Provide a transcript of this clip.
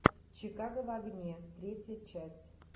чикаго в огне третья часть